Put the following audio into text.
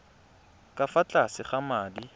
ka fa tlase ga madi